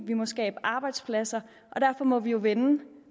vi må skabe arbejdspladser og derfor må vi vende